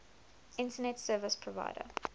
internet service provider